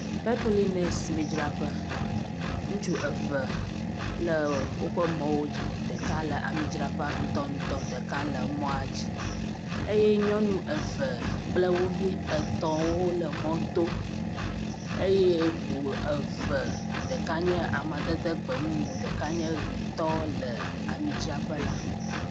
Petrolines midzraƒe ŋutsu eve le woƒe mɔwo dzi. Ɖeka le amidzraƒea ŋutɔŋutɔ ɖeka le mɔa dzi eye nyɔnu eve kple wovi etɔ̃wo le mɔto eye ŋu eve ɖeka nye amadede gbemumu ɖeka nye ʋitɔ le amidzraƒe la.